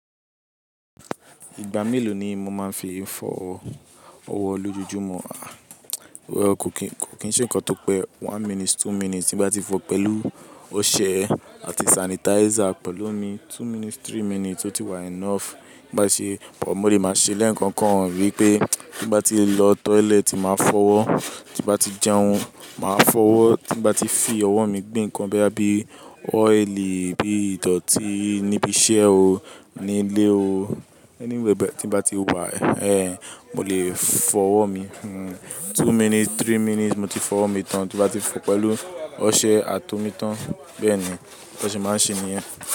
Ìgbà mélòó ni mo máa ń fi fọ ọwọ́ lójoojúmọ́? Well, kò kìí ṣe nǹkan tó pẹ́. One minute, two minutes tí bá ti fọ pẹ̀lú ọṣẹ àti sanitizer pẹ̀lú mi, two minutes, three minutes, ó ti wà enough. Bá ṣe pọ̀, mo lè máa ṣe lẹ́ẹ̀kan kan rí pé tí bá ti lọ toilet, màá fọ́ ọwọ́. Tí bá ti jẹun, màá fọ́ ọwọ́, tí bá ti fi ọwọ́ mi gbé nǹkan bíi ọ́ìlì, bí ìdọ̀tí níbi iṣẹ́ o, ní ilé o, anywhere tí bá ti wà, èhè, mo lè fọ ọwọ́ mi. Two minutes, three minutes mo ti fọ ọwọ́ mi tán tí bá ti fọ pẹ̀lú ọṣẹ àti omi tán. Bẹ́ẹ̀ ni ó ṣe máa ń ṣe nìyẹn.